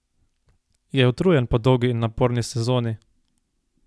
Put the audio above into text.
Je utrujen po dolgi in naporni sezoni?